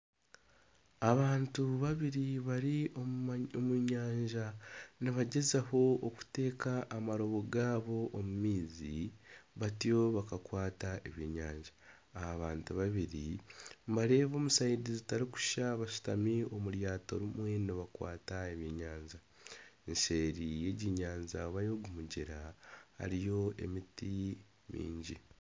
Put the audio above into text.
Abantu babiri bari omu nyanja nibagyezaho okuteka amarobo gaabo omu maizi batyo bakakwata ebyenyanja aba bantu babiri nibareeba omu sayidi zitarikushusha bashutami omu ryaato rimwe nibakwata ebyenyanja, seeri yegi nyanja oba y'ogu mugyera hariyo emiti mingi.